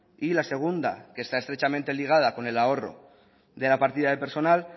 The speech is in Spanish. y la segunda que está estrechamente ligada con el ahorro de la partida del personal